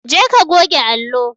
Jeka ka goge allo.